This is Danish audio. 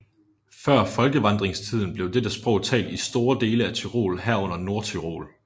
Før folkevandringstiden blev dette sprog talt i store dele af Tyrol herunder Nordtyrol